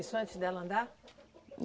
Isso antes dela andar?